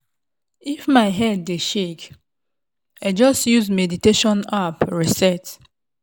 if my head dey shake i just use meditation app reset.